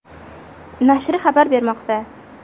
nashri xabar bermoqda .